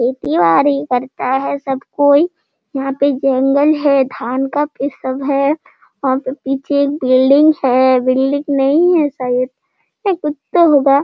खेती-बाड़ी करता है सब कोई यहाँ पे जंगल है धान का इ सब है वहाँ पे पीछे एक बिल्डिंग है बिल्डिंग नहीं है शायद ए कुछ तो होगा।